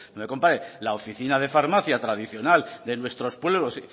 me compare la oficina de farmacia tradicional de nuestros pueblos